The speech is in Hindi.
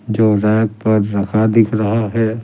जो रैक पर रखा दिख रहा है ।